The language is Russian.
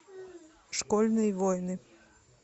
школьные войны